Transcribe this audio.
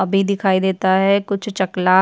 अभी दिखाई देता है कुछ चकला --